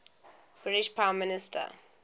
british prime minister